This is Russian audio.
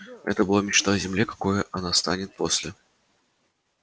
это была мечта о земле какой она станет после